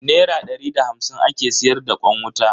Nera dari da hamsin ake siyar da kwan wuta.